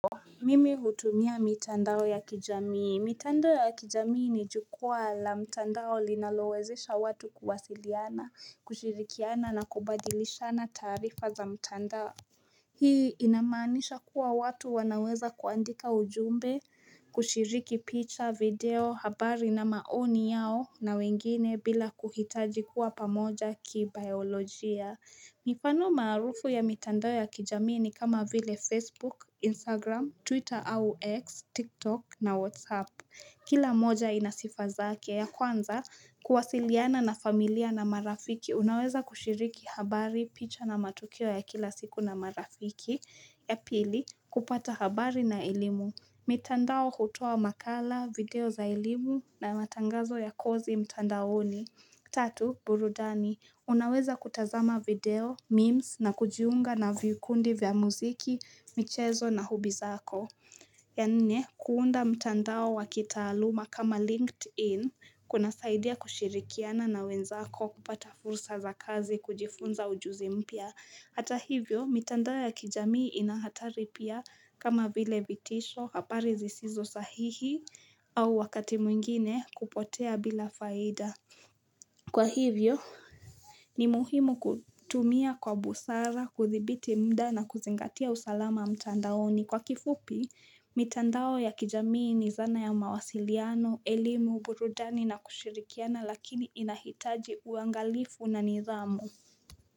Mimi hutumia mitandao ya kijamii. Mitandao ya kijamii ni jukwaa la mtandao linalowezesha watu kuwasiliana, kushirikiana na kubadilishana tarifa za mtandao. Hii inamanisha kuwa watu wanaweza kuandika ujumbe kushiriki picha, video, habari na maoni yao na wengine bila kuhitaji kuwa pamoja ki biolojia. Mifano marufu ya mitandao ya kijamii ni kama vile Facebook, Instagram, Twitter au X, TikTok na WhatsApp Kila moja inasifazaki ya kwanza kuwasiliana na familia na marafiki Unaweza kushiriki habari picha na matukio ya kila siku na marafiki ya pili kupata habari na elimu mitandao hutowa makala, video za elimu na matangazo ya kozi mitandaoni Tatu, burudani. Unaweza kutazama video, memes na kujiunga na vikundi vya muziki, michezo na hubi zako. Ya nne, kuunda mtandao wa kitaaluma kama LinkedIn kuna saidia kushirikiana na wenzako kupata fursa za kazi kujifunza ujuzi mpya. Hata hivyo, mtandao ya kijamii inahataripia kama vile vitisho hapari zisizo sahihi au wakati mwingine kupotea bila faida. Kwa hivyo, ni muhimu kutumia kwa busara, kuthibiti mda na kuzingatia usalama amtandaoni. Kwa kifupi, mitandao ya kijamii ni zana ya mawasiliano, elimu, burudani na kushirikiana lakini inahitaji uangalifu na nizamu.